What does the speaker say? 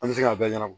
An bɛ se k'a bɛɛ ɲɛnabɔ